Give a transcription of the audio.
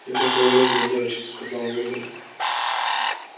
это туалет для девочек сказала миртл